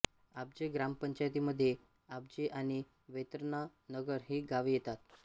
आब्जे ग्रामपंचायतीमध्ये आब्जे आणि वैतरणा नगर ही गावे येतात